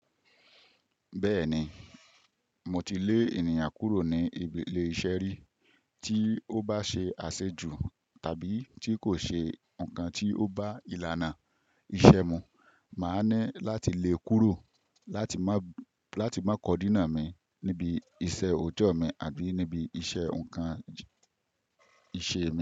Bẹ́ẹ̀ni, mo ti lé ènìyàn kúrò ní ibi lé-iṣẹ́ rí. Tí ó bá ṣe àṣejù tàbí tí kò ṣe nǹkan tí ó bá ìlànà iṣẹ́ mi, màá ná láti lé e kúrò láti má kọdínà mi níbi iṣẹ́ ọjọ́ mi àbí níbi iṣẹ́ nǹkan ìṣe mi.